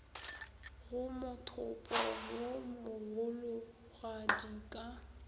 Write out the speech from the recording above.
go mothopo wo mogologadi ka